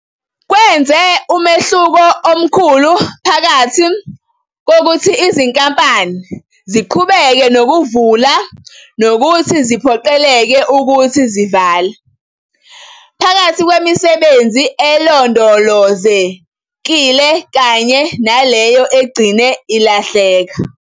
Kwenze umehluko phakathi kokuthi izinkampani ziqhubeke nokuvula nokuthi ziphoqeleke ukuthi zivale, phakathi kwemisebenzi elondolozekile kanye naleyo egcine ilahleka.